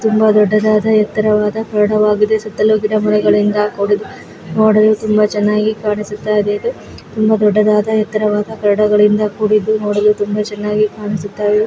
ತುಂಬಾ ದೊಡ್ಡದಾದ ಎತ್ತಾರವಾದ ಕರಡವಾಗಿದೆ ಸುತ್ತಲು ಗಿಡಮರಗಳಿಂದ ಕೂಡಿದೆ ನೋಡಲು ತುಂಬಾ ಚೆನ್ನಾಗಿ ಕಾಣಿಸುತ್ತಾದೆ ಇದು ತೋಬಾ ದೊಡ್ಡದಾದ ಎತ್ತಾರವಾದ ಕರಡ ಯಿಂದಕೂಡಿದೆ ನೋಡಲು ತುಂಬಾ ಚೆನ್ನಾಗಿದೆ.